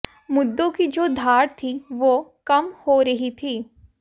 मुद्दों की जो धार थी वह कम हो रही थी